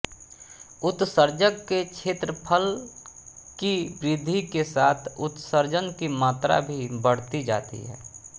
उत्सर्जक के क्षेत्रफल की वृद्धि के साथ उत्सर्जन की मात्रा भी बढ़ती जाती है